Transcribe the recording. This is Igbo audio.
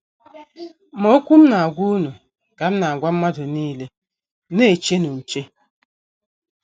Ma okwu M na - agwa unu ka M na - agwa mmadụ nile, Na - echenụ nche. ”